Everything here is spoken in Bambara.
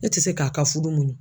Ne tɛ se k'a ka fudu muɲu.